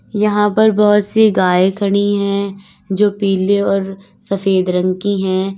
यहां पर बहोत सी गाय खड़ी हैं जो पीले और सफेद रंग की हैं।